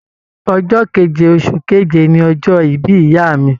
Ọjọ́ keje oṣù keje ní ọjọ́ ìbí ìyá mi.